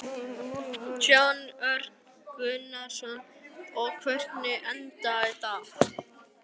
Jón Örn Guðbjartsson: Og hvernig endaði þetta?